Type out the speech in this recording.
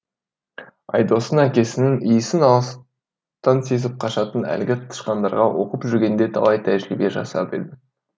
айдостың әкесінің иісін алыстан сезіп қашатын әлгі тышқандарға оқып жүргенде талай тәжірибе жасап едім